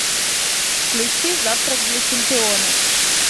включи завтрак для чемпионов